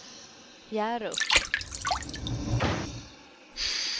Hjärup